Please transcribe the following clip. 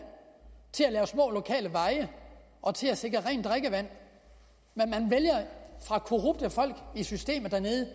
til at anlægge små lokale veje og til at sikre rent drikkevand men korrupte folk i systemet dernede